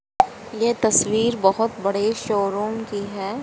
ये तस्वीर बहोत बड़े शोरूम की है।